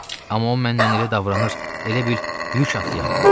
Amma o mənlə elə davranır, elə bil yük atıyam.